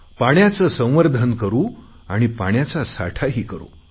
पाण्याचे संवर्धन करु आणि पाण्याचा साठाही करु